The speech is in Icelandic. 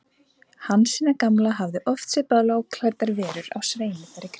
Hansína gamla hafði oft séð bláklæddar verur á sveimi þar í kring.